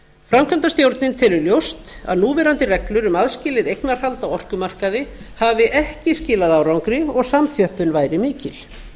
framkvæmdastjórnin telur ljóst að núverandi reglur um aðskilið eignarhald á orkumarkaði hafi ekki skilað árangri og samþjöppun væri mikil